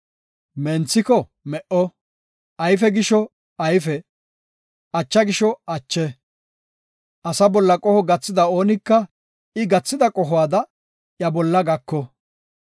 Menthiko me77o; ayfe gisho ayfe; acha gisho ache. Asa bolla qoho gathida oonika I gathida qohuwada iya bolla gako.